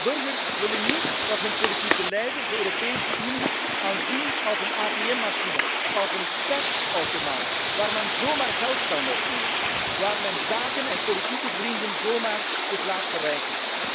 Burgers willen niet dat hun politieke leiders de Europese Unie aanzien als een ATM machine, als een geldautomaat waar men zomaar geld kan wegnemen, waar men zaken en politieke vrienden zich zomaar laat verrijken.